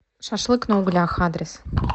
шашлык на углях адрес